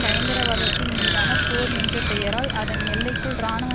பயங்கரவாதத்தின் மீதான போர் என்ற பெயரால் அதன் எல்லைக்குள் இராணுவ